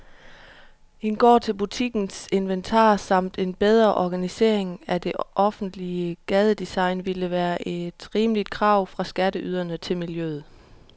En gård til butikkens inventar samt en bedre organisering af det offentlige gadedesign ville være et rimeligt krav fra skatteyderne til miljøet.